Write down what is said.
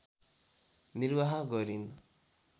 निर्वाह गरिन्